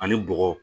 Ani bɔgɔ